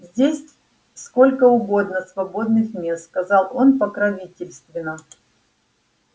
здесь сколько угодно свободных мест сказал он покровительственно